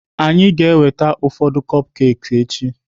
Ọ ga-eweta ụfọdụ cupcakes echi?